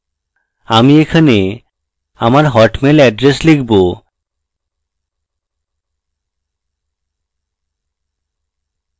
আমি এখানে আমার hotmail এড্রেস লিখব